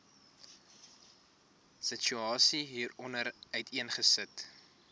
situasie hieronder uiteengesit